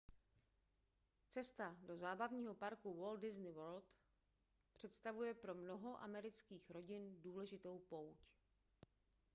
cesta do zábavního parku walt disney world představuje pro mnoho amerických rodin důležitou pouť